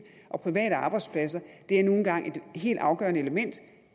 og private arbejdspladser er nu engang et helt afgørende element